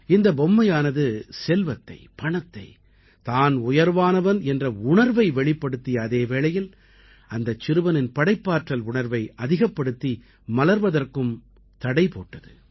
இந்தப் பொம்மையானது செல்வத்தை பணத்தை தான் உயர்வானவன் என்ற உணர்வை வெளிப்படுத்திய அதே வேளையில் அந்தச் சிறுவனின் படைப்பாற்றல் உணர்வை அதிகப்படுத்தி மலர்வதற்கும் தடை போட்டது